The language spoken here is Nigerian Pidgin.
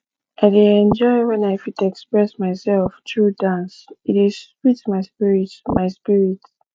i dey enjoy when i fit express myself through dance e dey sweet my spirit my spirit